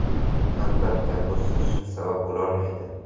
Albatta bu siz uchun sabab bo‘lolmaydi.